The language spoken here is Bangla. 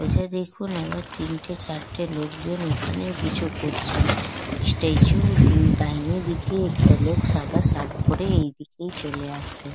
সোজা দেখুন আবার তিনটে চারটে লোকজন ওখানে কিছু করছেন। স্ট্যাচু -র অম ডাইনে দিকে একটা লোক সাদা শার্ট পরে এইদিকেই চলে আসছে।